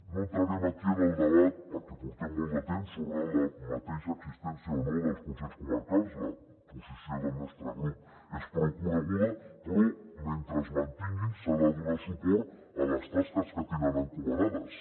no entrarem aquí en el debat perquè portem molt de temps sobre la mateixa existència o no dels consells comarcals la posició del nostre grup és prou coneguda però mentre es mantinguin s’ha de donar suport a les tasques que tenen encomanades